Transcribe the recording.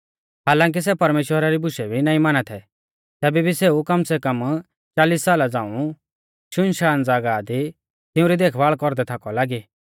हालांकी सै परमेश्‍वरा री बुशै भी नाईं माना थै तैबै भी सेऊ कम सै कम चालिस साला झ़ांऊ शुनशान ज़ागाह दी तिऊं री देखभाल़ कौरदै थाकौ लागी